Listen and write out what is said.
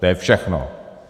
To je všechno.